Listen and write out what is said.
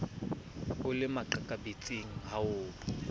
o le makaqabetsing ha ho